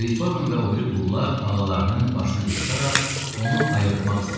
Xrisoqan və o biri qullar ağalarının başına yığışaraq onu ayıltmaq istədilər.